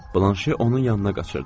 Blanşe onun yanına qaçırdı.